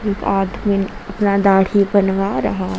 एक आठमीन अपना दाढ़ी बनवा रहा है।